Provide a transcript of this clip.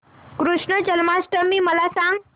कृष्ण जन्माष्टमी मला सांग